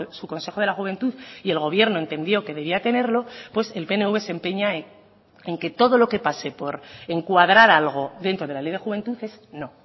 su consejo de la juventud y el gobierno entendió que debía tenerlo pues el pnv se empeña en que todo lo que pase por encuadrar algo dentro de la ley de juventud es no